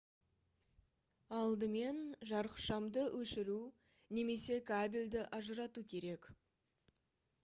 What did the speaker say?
алдымен жарықшамды өшіру немесе кабельді ажырату керек